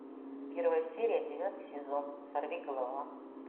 первая серия девятый сезон сорвиголова